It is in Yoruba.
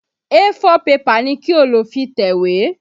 A4 pẹpà ni kí o lò fi tẹ̀wé!